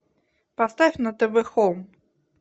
поставь на тв хоум